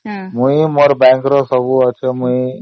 ମୁଁ ମୋ bank ରେ ପଇସା ରଖୁଛି